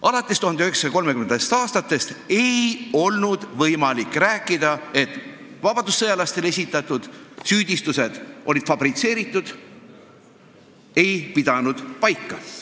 Alates 1930. aastast ei olnud võimalik rääkida, et vabadussõjalastele esitatud süüdistused olid fabritseeritud, ei pidanud paika.